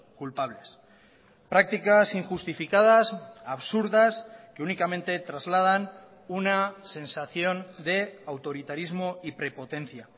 culpables prácticas injustificadas absurdas que únicamente trasladan una sensación de autoritarismo y prepotencia